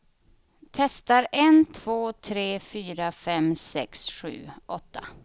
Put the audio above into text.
Testar en två tre fyra fem sex sju åtta.